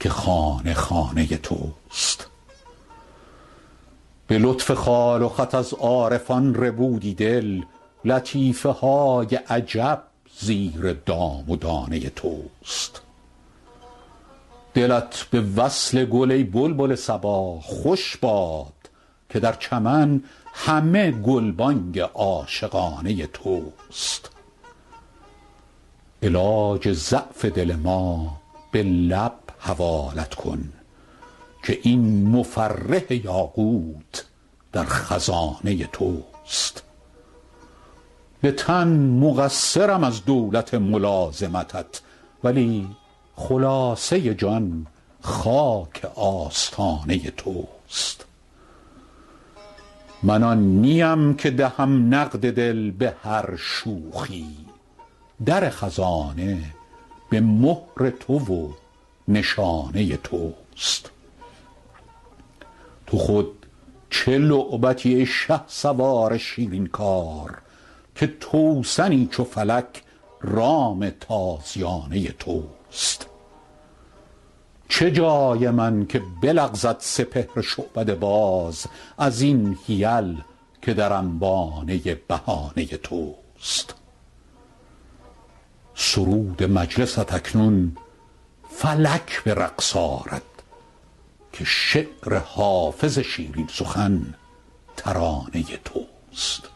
که خانه خانه توست به لطف خال و خط از عارفان ربودی دل لطیفه های عجب زیر دام و دانه توست دلت به وصل گل ای بلبل صبا خوش باد که در چمن همه گلبانگ عاشقانه توست علاج ضعف دل ما به لب حوالت کن که این مفرح یاقوت در خزانه توست به تن مقصرم از دولت ملازمتت ولی خلاصه جان خاک آستانه توست من آن نیم که دهم نقد دل به هر شوخی در خزانه به مهر تو و نشانه توست تو خود چه لعبتی ای شهسوار شیرین کار که توسنی چو فلک رام تازیانه توست چه جای من که بلغزد سپهر شعبده باز از این حیل که در انبانه بهانه توست سرود مجلست اکنون فلک به رقص آرد که شعر حافظ شیرین سخن ترانه توست